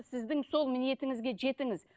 сіздің сол ниетіңізге жетіңіз